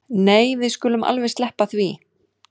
Nei við skulum alveg sleppa því